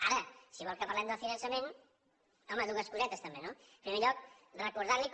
ara si vol que parlem del finançament home dues cosetes també no en primer lloc recordar li com